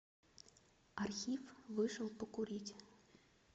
архив вышел покурить